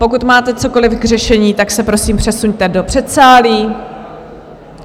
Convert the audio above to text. Pokud máte cokoli k řešení, tak se prosím přesuňte do předsálí.